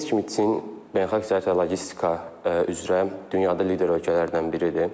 Bildiyiniz kimi Çin beynəlxalq logistika üzrə dünyada lider ölkələrdən biridir.